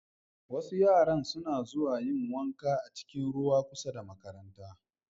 Wasu yaran suna zuwa yin wanka a cikin ruwa kusa da makaranta.